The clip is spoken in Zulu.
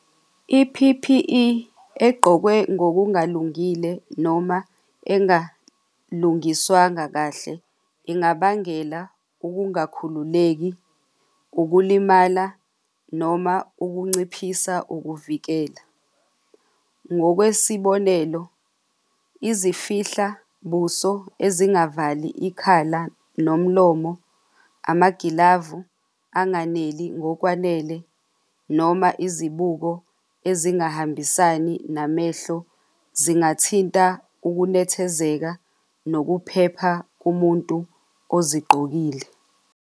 I-P_P_E egqokwe ngokungalungile noma engalungiswanga kahle, ingabangela ukungakhululeki, ukulimala noma ukunciphisa ukuvikela. Ngokwesibonelo, izifihla buso ezingavali ikhala nomlomo, amagilavu anganeli ngokwanele noma izibuko ezingahambisani namehlo zingathinta ukunethezeka nokuphepha kumuntu ozigqokile.